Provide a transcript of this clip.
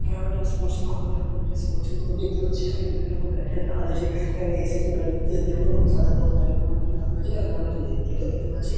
এখানে একটা স্পোর্টসের দোকান হতে পারে আমরা একটা স্পোর্টসের দোকান দেখতে পাচ্ছি এখানে বিভিন্ন রকম ব্যাট ট্যাট রাখা রয়েছে এখানে এস.এস.এ ব্যাট ইত্যাদি অনেক রকমের সাদা বল বল অনেক কিছু রাখা রয়েছে এখানে আমরা এটা দেখতে পাচ্ছি।